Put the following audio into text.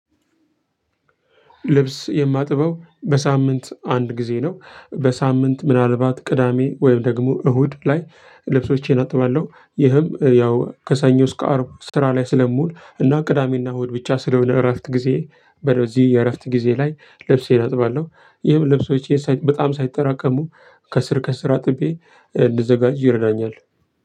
ልብስ የማጥበው በሳምንት አንድ ጊዜ ነው በሳምንት ምናልባት ቅዳሜ ወይም ደግሞ እሁድ ላይ ልብሶቼን አጥባለሁ። ይህም ያው ከሰኞ እስከ አርብ ስራ ላይ ስለምውል እና ቅዳሜና እሁድ ብቻ ስለሆነ እረፍት ጊዜዬ በእነዚህ የእረፍት ጊዜ ላይ ልብሴ አጥባለሁ። ይህም ልብሶቼ ሳይ በጣም ሳይጠራቀሙ ከስር ከስር አጥቤ እንድዘጋጅ ይረዳኛል።